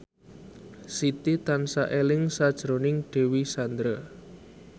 Siti tansah eling sakjroning Dewi Sandra